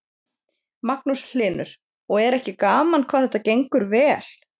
Magnús Hlynur: Og er ekki gaman hvað þetta gengur vel?